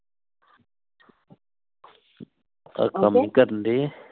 ਆਹ ਕੰਮ ਹੀ ਕਰਨ ਢਏ ਹੈਂ